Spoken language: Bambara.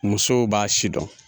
Musow b'a si dɔn